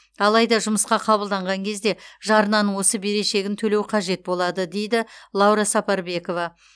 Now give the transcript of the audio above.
алайда жұмысқа қабылданған кезде жарнаның осы берешегін төлеу қажет болады дейді лаура сапарбекова